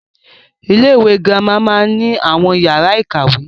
Ilé-ìwé girama máa ni àwọn yàrá ìkàwé.